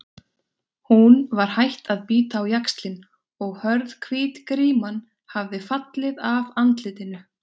Hún var hætt að bíta á jaxlinn og hörð, hvít gríman hafði fallið af andlitinu.